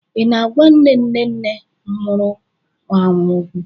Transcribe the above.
Ị na-agwa nne nne nne m nwụrụ anwụ okwu?